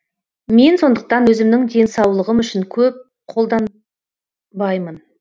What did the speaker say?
мен сондықтан өзімнің денсаулығым үшін көп қолданбаймын